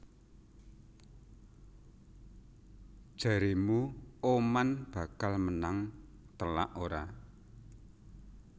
Jaremu Oman bakal menang telak ora?